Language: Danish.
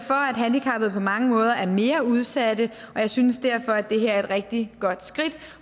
man mange måder er mere udsatte og jeg synes derfor at det her er et rigtig godt skridt